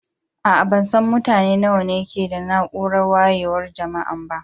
Aa, ban san mutane nawa ne ke a'naúrar wayewan jama'an ba.